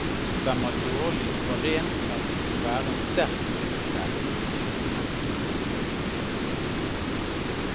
Det stemmer dårlig overens med at det skulle være en sterk motsetning mellom disse to. punktum